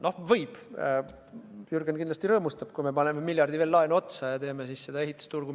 No riik võib ju – Jürgen kindlasti rõõmustab – võtta ühe miljardi laenu otsa ja teha selle miljardi eest ehitusturgu.